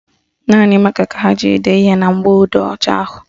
Naanị mákà ka a ga-eji dee ihe na mgbọodee ọcha ahụ